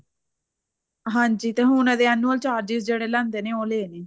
ਹਾਂਜੀ ਤੇ ਹੁਣ ਇਹਦੇ annual charges ਜਿਹੜੇ ਲੈਂਦੇ ਨੇ ਉਹ ਲਏ ਨੇ